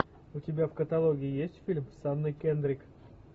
у тебя в каталоге есть фильм с анной кендрик